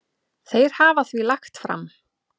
Þeir hafa því lagt fram